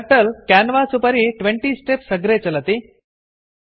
turtle canvas उपरि 20 steps अग्रे चलति